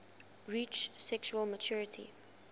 reach sexual maturity